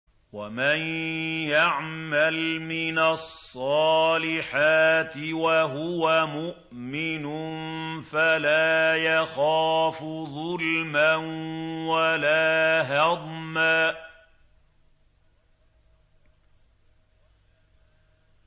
وَمَن يَعْمَلْ مِنَ الصَّالِحَاتِ وَهُوَ مُؤْمِنٌ فَلَا يَخَافُ ظُلْمًا وَلَا هَضْمًا